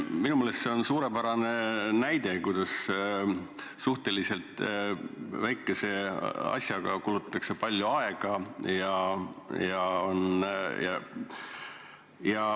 Minu meelest see on suurepärane näide, kuidas suhteliselt väikese asja peale kulutatakse palju aega.